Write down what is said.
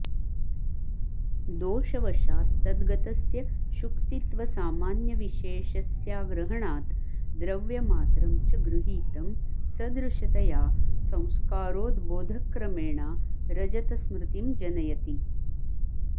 दोषवशात् तद्गतस्य शुक्तित्वसामान्यविशेषस्याग्रहणात् द्रव्यमात्रं च गृहीतं सदृशतया संस्कारोद्बोधक्रमेणा रजतस्मृतिं जनयति